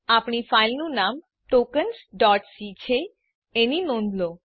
આપણી ફાઈલનું નામ ટોકન્સ c છે એની નોંધ લો